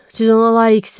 Siz ona layiqsiz!